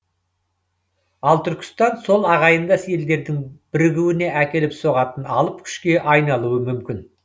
ал түркістан сол ағайындас елдердің бірігуіне әкеліп соғатын алып күшке айналуы мүмкін